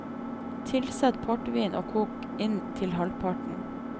Tilsett portvin og kok inn til halvparten.